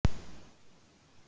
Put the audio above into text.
Þetta er svo hallærislegt.